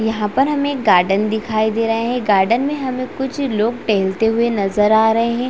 यहाँ पर हमे एक गार्डन दिखाई दे रहा है गार्डन में हमे कुछ लोग टहैलते हुए नजर आ रहै है।